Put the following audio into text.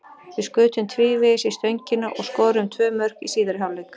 Við skutum tvívegis í stöngina og skoruðum tvö mörk í síðari hálfleik.